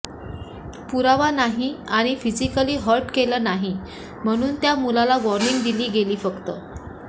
पुरावा नाही आणि फिजिकली हर्ट केलं नाही म्हणून त्या मुलाला वॉर्निंग दिली गेली फक्त